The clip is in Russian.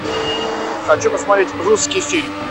хочу посмотреть русский фильм